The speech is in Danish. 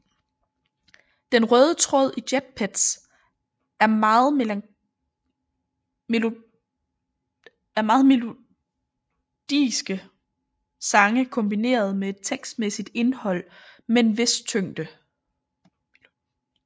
Den røde tråd i jetpetz er meget melodiske sange kombineret med et tekstmæssigt indhold med en vis tyngde